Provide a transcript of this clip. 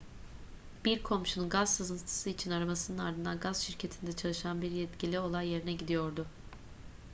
bir komşunun gaz sızıntısı için aramasının ardından gaz şirketinde çalışan bir yetkili olay yerine gidiyordu